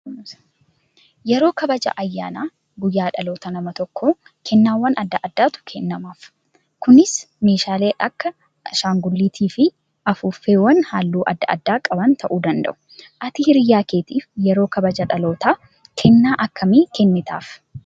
Yeroo kabaja ayyaana guyyaa dhaloota nama tokkoo kennaawwan adda addaatu kennamaaf. Kunis meeshaalee akka shaangulliitii fi afuuffeewwan halluu adda addaa qaban ta'uu danda'u. Ati hiriyaa keetiif yeroo kabaja dhalootaa kennaa akkamii kennitaaf?